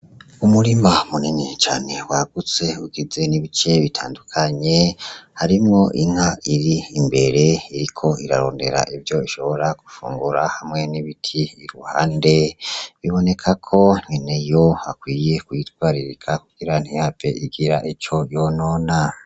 Umurima munini cane wagutse ugizwe n'ibice bitandukanye harimwo inka iri imbere iriko irarondera ivyo ishobora kurya ,hamwe n'ibiti iruhande bibonekako inayo akwiye kuyitwararika kugir ntihave igira ico yonona.